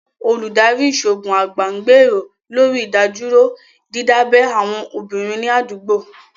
Olùdarí Ìṣòògùn àgbà ń gbèrò lórí ìdádúró dídábẹ́ àwọn obìnrin ní àdúgbò